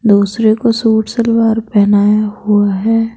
दूसरे को सूट सलवार पहनाया हुआ है।